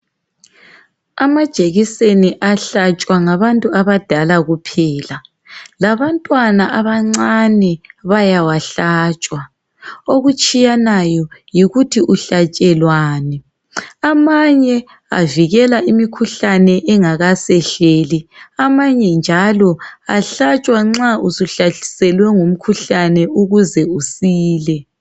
Amajekiseni awahlatshwa ngabantu abadala kuphela, labantwana abancane bayawahlatshwa. Okutshiyanayo yikuthi uhlatshelwani .Amanye avikela imikhuhlane engakasehleli amanye njalo ahlatshwa suhlaselwe ngumkhuhlane ukuze usile.